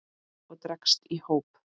og dregst í hóp